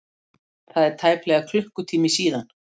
Það er tæplega klukkutími síðan.